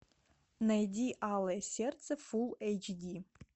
найди алое сердце фул эйч ди